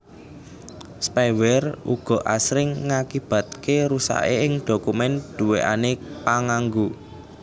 Spyware uga asring ngakibataké rusaké ing dhokumèn duwèkané panganggo